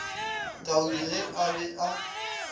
taudi ge a be a